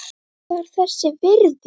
Var þess virði!